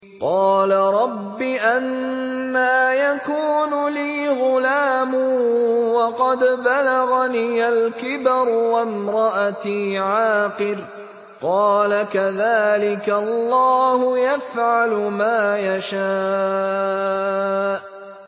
قَالَ رَبِّ أَنَّىٰ يَكُونُ لِي غُلَامٌ وَقَدْ بَلَغَنِيَ الْكِبَرُ وَامْرَأَتِي عَاقِرٌ ۖ قَالَ كَذَٰلِكَ اللَّهُ يَفْعَلُ مَا يَشَاءُ